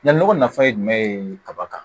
Yan nɔgɔ nafa ye jumɛn ye kaba kan